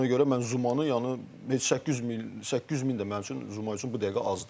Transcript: Ona görə mən Zumanı, yəni heç 800 min, 800 min də mənim üçün Zuma üçün bu dəqiqə azdır.